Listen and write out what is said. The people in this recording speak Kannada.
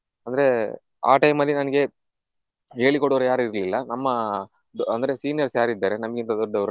ಅಂದ್ರೆ ಆ time ಅಲ್ಲಿ ನನಗೆ ಹೇಳಿಕೊಡುವವರು ಯಾರು ಇರ್ಲಿಲ್ಲ ನಮ್ಮ ಅಂದ್ರೆ seniors ಯಾರಿದ್ದಾರೆ ನಮ್ಮಕ್ಕಿಂತ ದೊಡ್ಡವರು